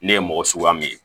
Ne ye mɔgɔ suguya min ye